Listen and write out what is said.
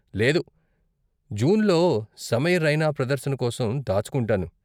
లేదు, జూన్లో సమై రైనా ప్రదర్శన కోసం దాచుకుంటాను.